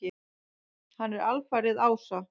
Hann er alfaðir ása.